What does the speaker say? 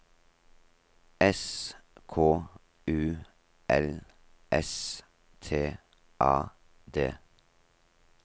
S K U L S T A D